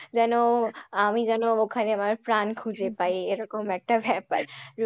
যেনো আমি যেনো ওখানে আমার প্রাণ খুঁজে পাই এরকম একটা ব্যাপার।,